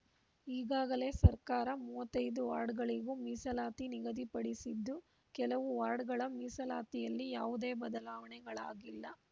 ಈಗಾಗಲೇ ಸರ್ಕಾರ ಮೂವತ್ತೈದು ವಾರ್ಡ್‌ಗಳಿಗೂ ಮೀಸಲಾತಿ ನಿಗದಿಪಡಿಸಿದ್ದು ಕೆಲವು ವಾರ್ಡ್‌ಗಳ ಮೀಸಲಾತಿಯಲ್ಲಿ ಯಾವುದೇ ಬದಲಾವಣೆಗಳಾಗಿಲ್ಲ